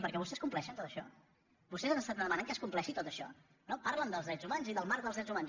perquè vostès compleixen tot això vostès demanen que es compleixi tot això no parlen dels drets humans i del marc dels drets humans